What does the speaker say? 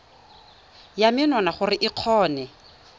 ya menwana gore o kgone